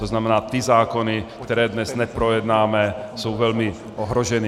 To znamená, ty zákony, které dnes neprojednáme, jsou velmi ohroženy.